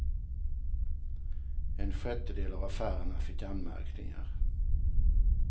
En sjättedel av affärerna fick anmärkningar.